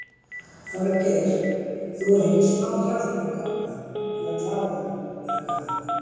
Þorgeir: Þú hefur fengið smá hjálp hjá pabba til að klára hann eða hvað?